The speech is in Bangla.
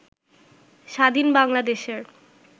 স্বাধীন বাংলাদেশের